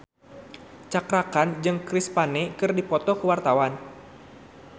Cakra Khan jeung Chris Pane keur dipoto ku wartawan